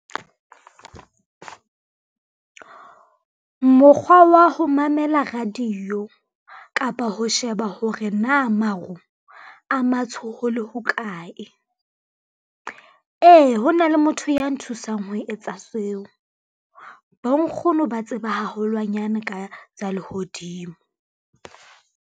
Mokgwa wa ho mamela radio kapa ho sheba hore na maru a matsho ho le hokae. Ee, ho na le motho ya nthusang ho etsa seo, bonkgono ba tseba haholwanyane ka tsa lehodimo.